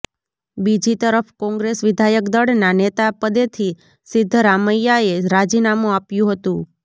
બીજી તરફ કોંગ્રેસ વિધાયક દળના નેતા પદેથી સિદ્ધરામૈયાએ રાજીનામું આપ્યું હતું